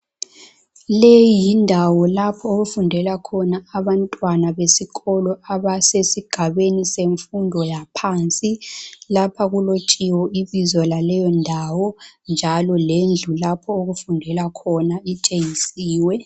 Leyi yindawo lapho okufundela khona abantwana besikolo abasesigabeni semfundo yaphansi lapha kulotshiwe ibizo laleyondawo njalo lendlu lapho okufundelwa khona itshengisiwe.